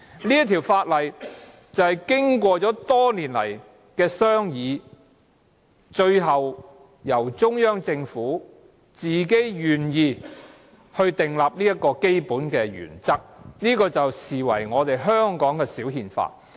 這項法例經過多年商議，最後中央政府自己願意確立這個基本原則，視為香港的"小憲法"。